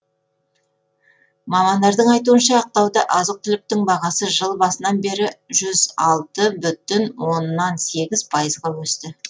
мамандардың айтуынша ақтауда азық түліктің бағасы жыл басынан бері жүз алты бүтін оннан сегіз пайызға өсті